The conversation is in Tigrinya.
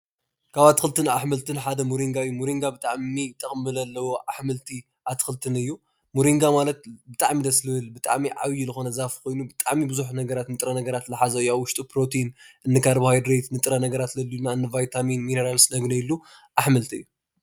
ካብ ኣትክልትን ኣሕምልትን ሓደ ሞሪጋ እዩ። ሞሪጋ ብዙሕ ጠቅሚ ዘለዎ ኣሕምልቲ ኣትክልትን እዩ። ሞሪጋ ማለት ብጣዕሚ ደስ ዝብል ብጣዕሚ ዓብዩ ዝኮነ ዛፍ ኮይኑ ብጣዕሚ ብዙሕ ነገራት ንጥረ ነገራት ዝሓዘ እዩ። ኣብ ዉሽጡ ፕሮቲን ፣ንካርቦሃድሬት፣ ንጥረ ነገራት ዘድልዩና እንቫይታሚን ሚነራላት ነግንየሉ ኣሕምልቲ እዩ።